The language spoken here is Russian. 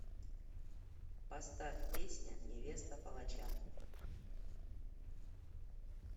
поставь песня невеста палача